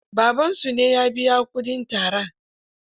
Babansu ne ya biya kuɗin tarar.